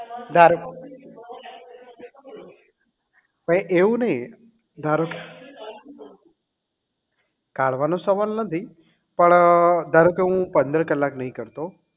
ધારો એવું નહીં ધારોકે કાઢવાનો સવાલ નથી પણ ધારોકે હું પંદર કલાક નહીં કરતો